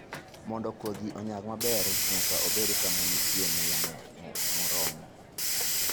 Mondo kodhi onyag maber, nyaka obed kama nitie muya moromo.